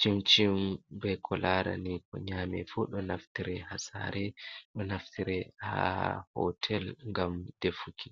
shim-shim, be ko laarani ko nyame fuu ɗo naftire haa saare, do naftire haa hotel ngam defuki.